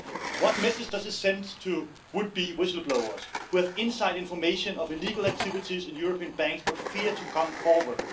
What message does it send to would be whistle blowers who have inside information on illegal activities in European banks but fear to come forward?